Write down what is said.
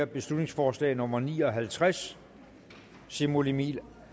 beslutningsforslag nummer b ni og halvtreds simon emil